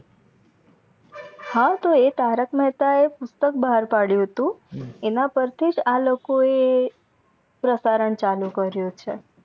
હા તો એક તારક મેહતા એ બહાર પડીયૂ હતું એના પરથીજ આ લોકો આ પ્રસારણ ચાલુ કર્યું છે